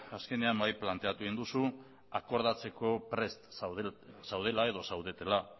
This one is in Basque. azkenean bai planteatu egin duzu akordatzeko prest zaudela edo zaudetela